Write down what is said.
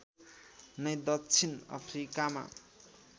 नै दक्षिण अफ्रिकामा